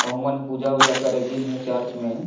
अउ ओ मन पूजा ऊजा करे गिन हे चर्च मे--